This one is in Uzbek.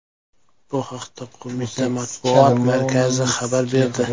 Bu haqda qo‘mita matbuot markazi xabar berdi .